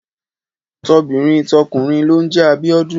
Tobìnrin tọkùnrin ló ń jẹ Abíọ́dún.